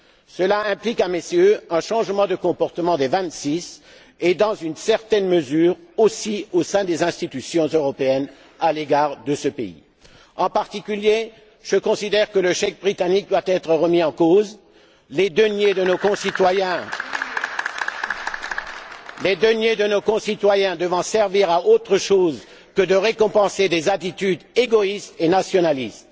Cela implique, à mes yeux, un changement de comportement des vingt six et aussi, dans une certaine mesure, au sein des institutions européennes à l'égard de ce pays. En particulier, je considère que le chèque britannique doit être remis en cause, les deniers de nos concitoyens devant servir à autre chose que de récompenser des attitudes égoïstes et nationalistes.